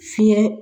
Fiɲɛ